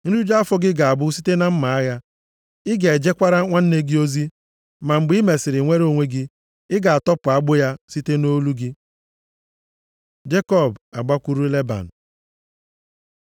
Nriju afọ gị ga-abụ site na mma agha, ị ga-ejekwara nwanne gị ozi. Ma mgbe i mesịrị nwere onwe gị, ị ga-atọpụ agbụ ya, site nʼolu gị.” Jekọb agbakwuru Leban